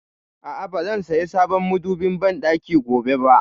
A'a, ba zan saya sabon madobin banɗaki gobe ba